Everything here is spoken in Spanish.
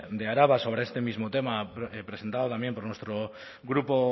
de araba sobre este mismo tema presentado también por nuestro grupo